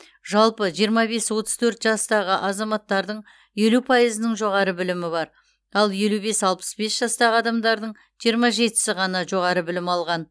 жалпы жиырма бес отыз төрт жастағы азаматтардың елу пайызының жоғары білімі бар ал елу бес алпыс бес жастағы адамдардың жиырма жетісі ғана жоғары білім алған